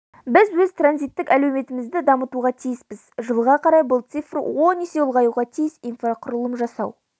біз өз транзиттік әлеуетімізді дамытуға тиіспіз жылға қарай бұл цифр он есе ұлғаюға тиіс инфрақұрылым жасау